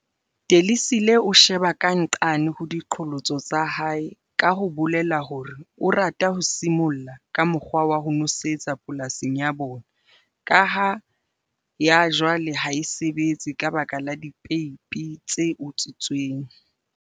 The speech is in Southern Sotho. Delisile o sheba ka nqane ho diqholotso tsa hae ka ho bolela hore o rata ho simolla ka mokgwa wa nosetso polasing ya bona ka ha ya jwale ha e sebetse ka baka la dipeipi tse utswitsweng.